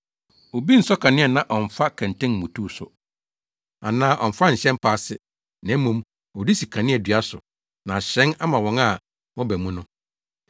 “Obi nsɔ kanea na ɔmfa kɛntɛn mmutuw so, anaa ɔmfa nhyɛ mpa ase na mmom, ɔde si kaneadua so na ahyerɛn ama wɔn a wɔba mu no.